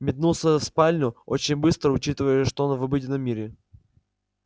метнулся в спальню очень быстро учитывая что он в обыденном мире